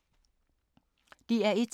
DR1